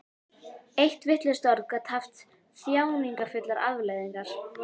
Eitt vitlaust orð gat haft þjáningarfullar afleiðingar.